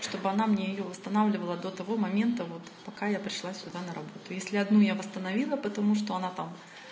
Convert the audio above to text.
что бы она мне её восстанавливала до того момента вот пока я пришла сюда на работу если одну я восстановила потому что она там